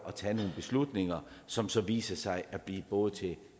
tage nogle beslutninger som så viser sig at blive både til